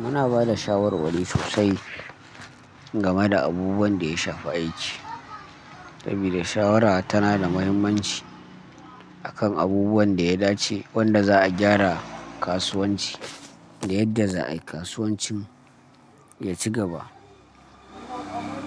Muna ba da shawarwari sosai game da abubuwan da ya shafi aiki. Sabida shawara tana da mahimmanci akan abubuwan da ya dace, wanda za a gyara kasuwanci da yadda za a kasuwancin ya ci gaba.